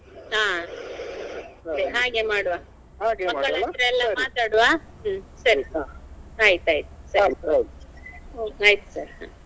ಹಾ ಹಾಗೆ ಮಾಡುವ ಮಕ್ಕಳತ್ರ ಎಲ್ಲಾ ಮಾತಾಡ್ವ ಹ್ಮ್ ಸರಿ ಸರಿ ಆಯ್ತಾಯ್ತು ಸರಿ ಆಯ್ತು ಸರಿ.